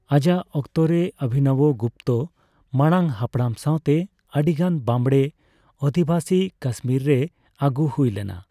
ᱟᱡᱟᱜ ᱚᱠᱛᱚᱨᱮ ᱚᱵᱷᱤᱱᱚᱵᱚ ᱜᱩᱯᱛᱚ ᱢᱟᱲᱟᱝ ᱦᱟᱯᱲᱟᱢ ᱥᱟᱣᱛᱮ ᱟᱹᱰᱤᱜᱟᱱ ᱵᱟᱸᱢᱲᱮ ᱚᱫᱷᱤᱵᱟᱥᱤ ᱠᱟᱥᱢᱤᱨ ᱨᱮ ᱟᱜᱩ ᱦᱩᱭᱞᱮᱱᱟ ᱾